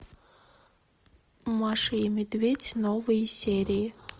маша и медведь новые серии